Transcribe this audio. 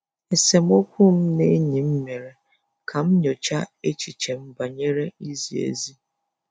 Esemokwu m na enyi m mere ka m nyochaa echiche m banyere izi ezi.